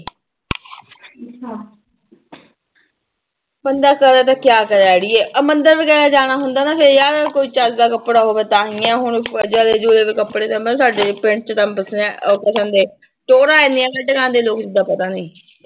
ਬੰਦਾ ਕਰੇ ਤੇ ਕਿਆ ਕਰੇ ਆੜੀਏ ਆਹ ਮੰਦਿਰ ਵਗ਼ੈਰਾ ਜਾਣਾ ਹੁੰਦਾ ਨਾ ਫਿਰ ਯਾਰ ਕੋਈ ਚੱਜਦਾ ਕੱਪੜਾ ਹੋਵੇ ਤਾਂ ਹੀ ਹੈ ਹੁਣ ਜਲੇ ਜੁਲੇ ਕੱਪੜੇ ਤਾਂ ਸਾਡੇ ਪਿੰਡ ਚ ਤਾਂ ਵਸਿਆ ਟੋਰਾਂ ਇੰਨੀਆਂ ਕੱਢਕੇ ਆਉਂਦੇ ਲੋਕ ਏਦਾਂ ਪਤਾ ਨੀ।